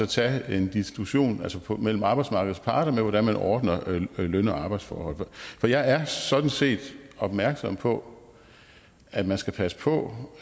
tage en diskussion mellem arbejdsmarkedets parter om hvordan man ordner løn og arbejdsforhold for jeg er sådan set opmærksom på at man skal passe på